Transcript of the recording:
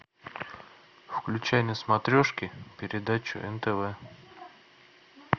включай на смотрешке передачу нтв